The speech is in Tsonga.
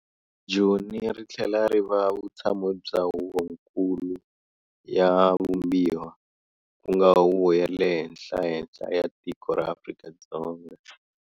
Joni rithlela riva vutshamo bya Huvo-nkulu ya vumbiwa, kunga huvo ya le henhlahenhla ya tiko ra Afrika-Dzonga.